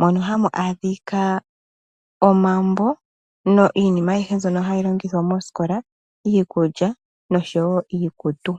Mono hamu adhika omambo iinima ayihe mbyono hayi longithwa mosikola. Iikulya nosho woo iikutu.